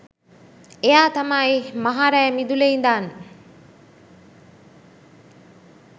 එයා තමයි මහ රැ මිදුලේ ඉදන්